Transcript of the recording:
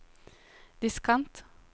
diskant